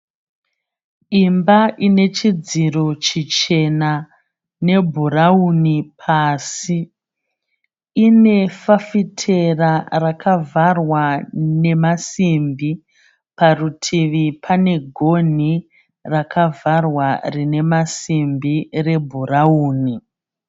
Imba ine chidziro chichena nebhurawuni pasi, ine fafitera rakavharwa nemasimbi parutivi pane gonhi rakavharwa rine masimbi rebhurawuni.